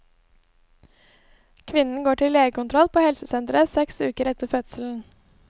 Kvinnen går til legekontroll på helsesenteret seks uker etter fødselen.